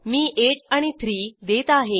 मी 8 आणि 3 देत आहे